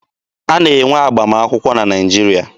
A na-enwe agbamakwụkwọ na Naịjirịa.